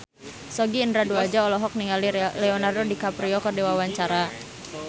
Sogi Indra Duaja olohok ningali Leonardo DiCaprio keur diwawancara